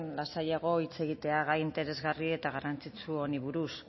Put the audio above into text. lasaiago hitz egitea gai interesgarri eta garrantzitsu honi buruz